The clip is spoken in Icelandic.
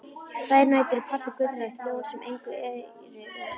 Þær nætur er pabbi gullrautt ljón sem engu eirir og